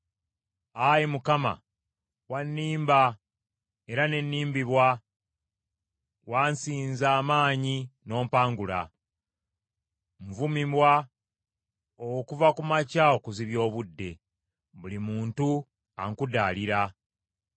Ayi Mukama , wannimba era n’ennimbibwa, wansinza amaanyi n’ompangula. Nvumibwa okuva ku makya okuzibya obudde, buli muntu ankudaalira.